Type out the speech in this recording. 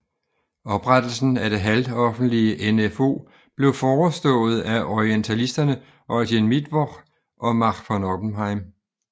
Oprettelsen af det halvoffentlige NfO blev forestået af orientalisterne Eugen Mittwoch og Max von Oppenheim